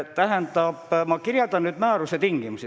Ma kirjeldan teile selle määruse tingimusi.